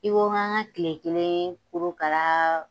I ko n ka n ka kile kelen korokara